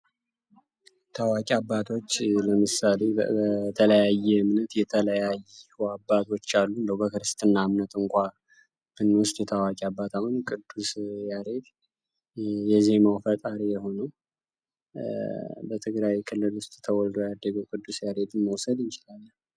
ታዋቂ አባቶች፦ ለምሳሌ በተለያዩ እምነት የተለያዩ አባቶች አሉ። እንዴው ለምሳሌ በክርስትና እምነት እንኳን ብንወስድ ታዋቂ አባት አሁን ቅዱስ ያሬድ የዜማው ፈጣሪ የሆነው በትግራይ ክልል ተወልዶ ያደገውን ቅዱስ ያሬድን መውሰድ እንችላለን።